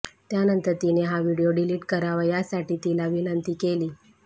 त्यानंतर तिने हा व्हिडीओ डिलीट करावा यासाठी तिला विनंती केली